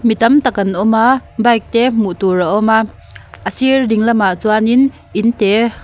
mi tam tak an awm a bike te hmuh tur a awm a a sir ding lamah chuanin in te --